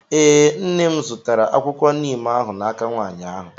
ee, nne m zụtara akwụkwọ Neem ahụ n'aka nwaanyị ahụ